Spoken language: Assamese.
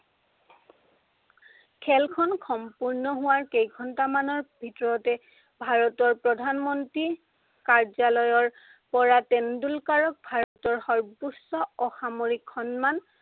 খেলখন সম্পূৰ্ণ হোৱাৰ কেই ঘন্টামানৰ ভিতৰতে ভাৰতৰ প্ৰধানমন্ত্ৰী কাৰ্যালয়ৰ পৰা তেণ্ডলুকাৰক ভাৰতৰ সৰ্ব্বোচ্চ অসামৰিক সন্মান